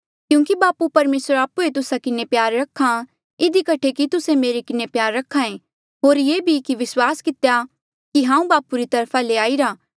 क्यूंकि बापू परमेसर आप्हुए तुस्सा किन्हें प्यार रख्हा इधी कठे कि तुस्से मेरे किन्हें प्यार करहा ऐें होर ये भी विस्वास कितेया कि हांऊँ बापू री तरफा ले आईरा